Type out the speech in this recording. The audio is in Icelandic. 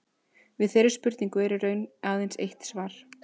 Við þeirri spurningu er í raun aðeins eitt svar.